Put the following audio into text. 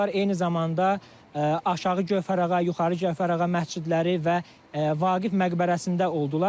Eyni zamanda Aşağı Gövhərağa, Yuxarı Cəfərağa məscidləri və Vaqif məqbərəsində oldular.